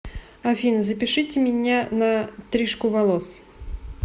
афина запишите меня на трижку волос